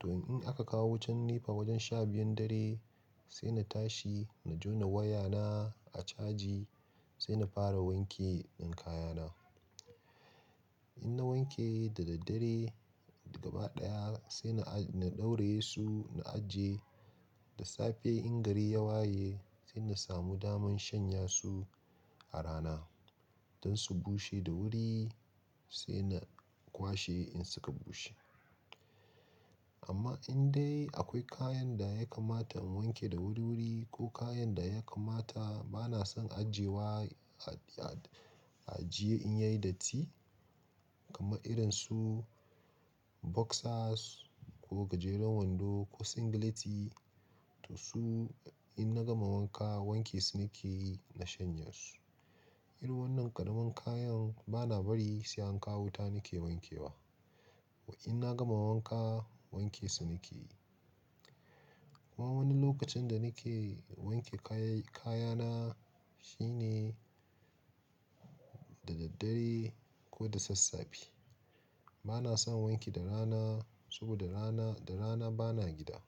To in aka kawo wutan NEPA wajen sha biyun dare, sai na tashi na jona wayana a caji sai na fara wanke ɗan kayana. In na wanke da daddare gaba ɗaya sai na, na ɗauraye su na ajiye. Da safe in gari ya waye sai na samu daman shanya su a rana don su bushe da wuri sai na kwashe in suka bushe. Amma indai akwai kayan da ya kamata in wanke da wuri-wuri ko kayan da ya kamata bana son ajiyewa wa a ajiye in yayi datti kamar irin su boxers ko gajeren wando ko singleti to su in na gama wanka wanke su nake yi na shanye su. Irin wannan ƙaramin kayan bana bari sai an kawo wuta nake wanke wa. In na gama wanka wanke su nake yi. Kuma wani lokacin da nake wanke kaya, kayana shine da daddare ko da sassafe. Bana son wanki da rana saboda da rana, da rana bana gida.